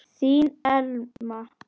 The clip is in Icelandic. Þín Elma.